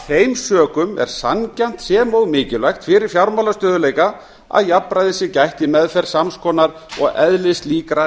þeim sökum er sanngjarnt sem og mikilvægt fyrir fjármálastöðugleika að jafnræðis sé gætt í meðferð sams konar og eðlislíkra neytendalána hvað er